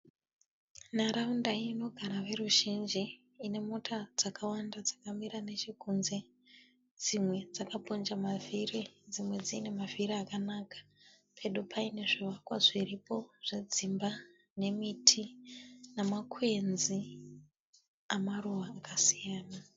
Nharaunda inogara veruzhinji ine mota dzakawanda dzakamira neche kunze. Dzimwe dzakaponja mavhiri dzimwe dzine mavhiri akanaka. Pedo paine zvivakwa zviripo zvedzimba nemiti namakwenzi amaruva akasiyana.